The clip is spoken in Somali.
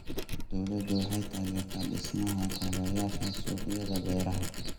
Dawladdu waxay taageertaa dhismaha kaabayaasha suuqyada beeraha.